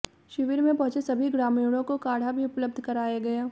शिविर में पहुंचे सभी ग्रामीणों को काढ़ा भी उपलब्ध कराया गया